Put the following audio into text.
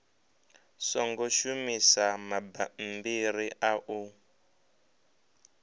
songo shumisa mabammbiri a u